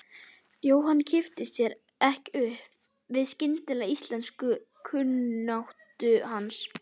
Jóhann kippti sér ekki upp við skyndilega íslenskukunnáttu hans.